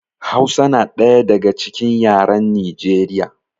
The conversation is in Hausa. Hausa na ɗaya daga cikin yaran Nijeriya